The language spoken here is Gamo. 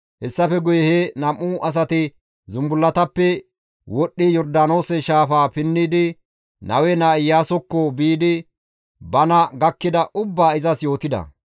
Hessafe guye he nam7u asati zumbullatappe wodhdhi Yordaanoose shaafaa pinnidi Nawe naa Iyaasokko biidi bana gakkida ubbaa izas yootida.